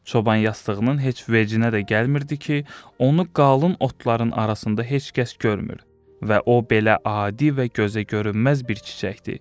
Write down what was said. Çoban yastığının heç vecinə də gəlmirdi ki, onu qalın otların arasında heç kəs görmür və o belə adi və gözə görünməz bir çiçəkdir.